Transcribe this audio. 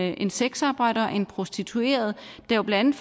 en sexarbejder en prostitueret der jo blandt